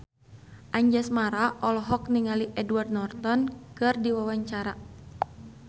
Anjasmara olohok ningali Edward Norton keur diwawancara